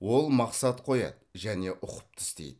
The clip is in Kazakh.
ол мақсат қояды және ұқыпты істейді